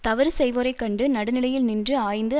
தவறு செய்வோரைக் கண்டு நடுநிலையில் நின்று ஆய்ந்து